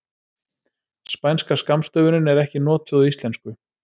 Spænska skammstöfunin er ekki notuð á íslensku.